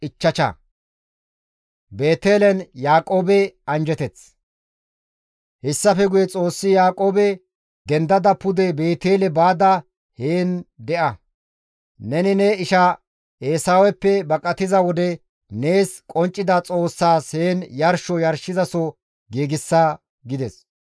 Hessafe guye Xoossi Yaaqoobe, «Dendada pude Beetele baada heen de7a; neni ne isha Eesaweppe baqatiza wode nees qonccida Xoossaas heen yarsho yarshizaso giigsa» gides.